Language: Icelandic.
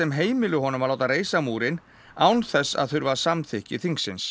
heimili honum að láta reisa múrinn án þess að þurfa samþykki þingsins